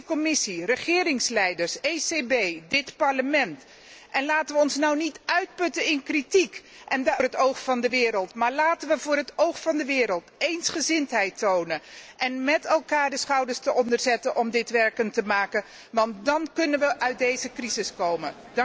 Commissie, regeringsleiders, ECB, dit Parlement, laten we ons nu niet uitputten in kritiek voor het oog van de wereld, maar laten we voor het oog van de wereld eensgezindheid tonen en met elkaar de schouders eronder zetten om dit werkend te maken, want dan kunnen we uit deze crisis komen.